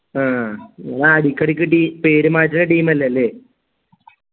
ആഹ് നീങ്ങ അടക്കടക്കി ടീ പേര് മാറ്റുന്ന team അല്ലേ ല്ലേ